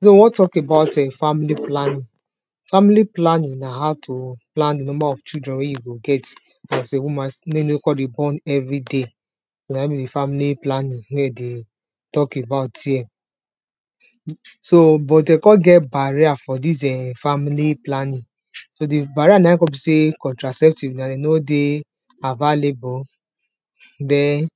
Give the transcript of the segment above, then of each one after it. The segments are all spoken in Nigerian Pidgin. we won talk about um family planning, family planing na how to plan di number of children we you go get as a woman mek you no kon dey born everyday so na in be di family planning wey we dey talk about here so but de kon get barrier or this um family planning so di barrier nain kon be sey di contracepts na den no dey avalable den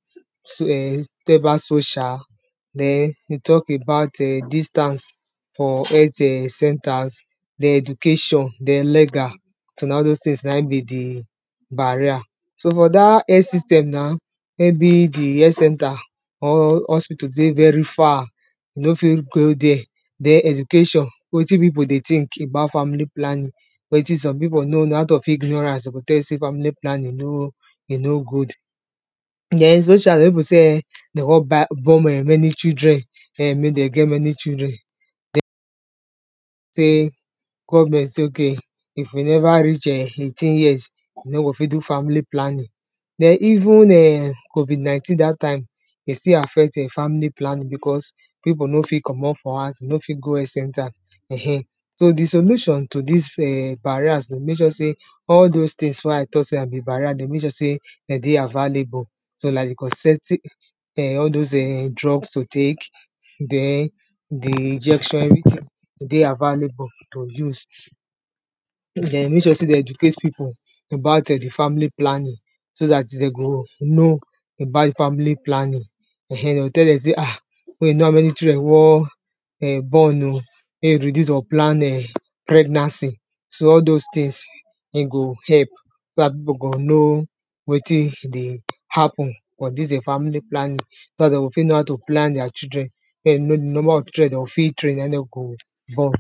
den we talk about um distance for health centers, den education den legal so na all those tins na in be di barrier. so for dat health system na maybe di health center or hospital dey very far, de no fit go there den education wetin pipu dey think about family planing wetin some pipu no know out of ignorance de go tell you sey family planning no e no good, den socially some pipu sey um, de won born um many children mek den get many children sey government sey ok if you never reach um eighteen years, you no go fit do family planning. den even um covid19 dat time, e still affect family planning because pipu no fit comot for house, pipu no fit go health center um, so di solution to dis barriers mek sure sey all those tins wey i talk sey be barrier dey o mek sure sey den dey avalable o like di um all those um drugs to tek, den di injection everytin dey avalable to use mek sure sey dey educate pipu about family planning so dat den go know about di family planning, um de go tell dem sey ah mek you kow how many children you won um born oh reduce unplan um pregnancy so all those tins, den go help so dat pipu go know wetin dey happen for dis e family planning. so dat den o fit know how to plan their children mek den know di number of children wey den o fit train na in de go born.